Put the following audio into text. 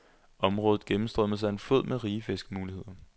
Området gennemstrømmes af en flod med rige fiskemuligheder.